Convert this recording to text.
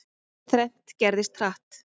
Þrennt gerðist, hratt.